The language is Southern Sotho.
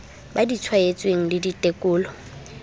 ba di tshwaetsweng le ditekolo